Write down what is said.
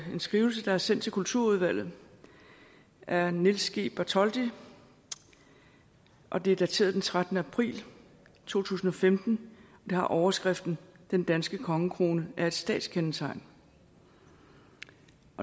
skrivelse der er sendt til kulturudvalget af niels g bartholdy og det er dateret den trettende april to tusind og femten det har overskriften den danske kongekrone er et statskendetegn